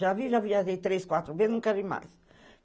Já vi, já viajei três, quatro vezes, não quero ir mais.